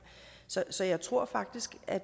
så så jeg tror faktisk at